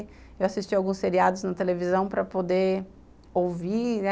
Eu assistia alguns seriados na televisão para poder ouvir, né.